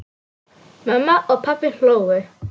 Mamma og pabbi hlógu.